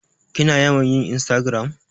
Kina yawan yin insragiram?